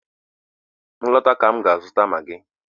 M lọta ka m ga-azụta maagi.